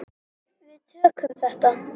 Við tökum þetta.